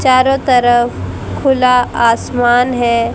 चारों तरफ खुला आसमान है।